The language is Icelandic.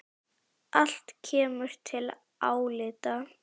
Allt kemur til álita.